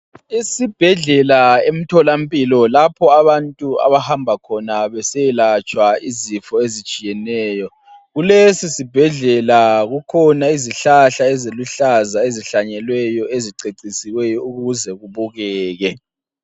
Isibhedlela emtholampilo lapho abantu abahamba khona besiyelatshwa izifo ezitshiyeneyo. Kulesisibhedlela kukhona izihlahla eziluhlaza ezihlanyeliweyo ezicecisileyo ukuze kubukeke .